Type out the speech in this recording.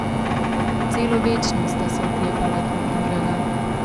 Celo večnost sta se oklepala drug drugega.